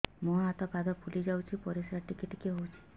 ମୁହଁ ହାତ ପାଦ ଫୁଲି ଯାଉଛି ପରିସ୍ରା ଟିକେ ଟିକେ ହଉଛି